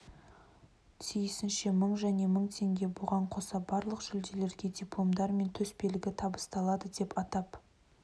тиісінше мың және мың теңге бұған қоса барлық жүлдегерге дипломдар мен төсбелгі табысталады деп атап